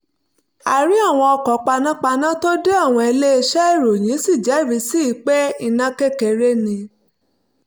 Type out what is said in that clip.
a rí àwọn ọkọ̀ panápaná tó dé àwọn iléeṣẹ́ ìròyìn sì jẹ́rìí sí i pé iná kékeré ni